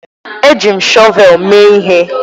Eji m shọvel mee ihe